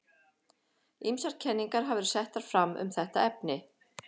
Ýmsar kenningar hafa verið settar fram um þetta efni.